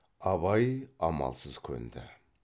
абай амалсыз көнді